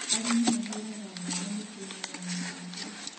Arĩmi mahũraga ndawa mĩtĩ-inĩ ya macungwa